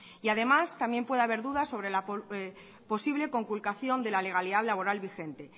y además también puede haber dudas sobre la posible conculcación de la legalidad laboral vigente